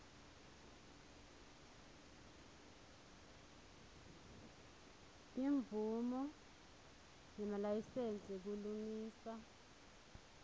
timvumo nemalayisensi kulungisa